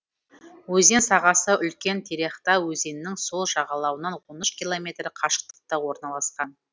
өзен сағасы үлкен терехта өзенінің сол жағалауынан он үш километр қашықтықта орналасқан